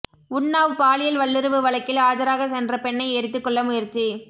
உன்னாவ் பாலியல் வல்லுறவு வழக்கில் ஆஜராக சென்ற பெண்ணை எரித்து கொல்ல முயற்சி